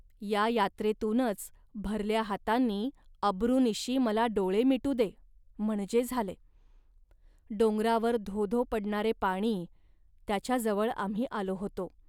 या यात्रेतूनच भरल्या हातांनी अब्रूनिशी मला डोळे मिटू दे, म्हणजे झाले. .डोंगरावर धो धो पडणारे पाणी, त्याच्याजवळ आम्ही आलो होतो